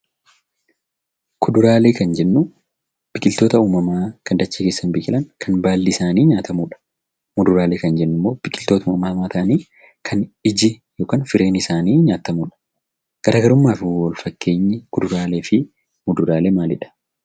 Kuduraalee jechuun biqiloota uummamaan dachee irratti biqilanii baalli isaanii nyaatamu jechuudha. Muduraalee jechuun immoo biqiloota uummamaan argaman ta'anii kan ijji yookiin firiin isaanii nyaatamu jechuudha. Garaagarummaa fi wal fakkeenyi kuduraalee fi muduraalee maalidha.